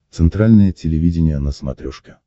центральное телевидение на смотрешке